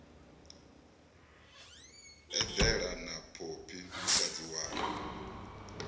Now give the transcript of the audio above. eḓela na phophi musadzi wawe